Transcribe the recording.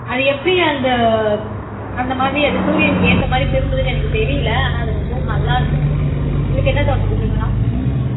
அது எப்படி அந்த அந்த மாதிரி அது சூரியனுக்கு ஏத்த மாதிரி திரும்புதுன்னு எனக்கு தெரியலே ஆனா அது ரொம்பவும் நல்லா இருந்துச்சு உங்களுக்கு என்ன தோணுது சுகுணா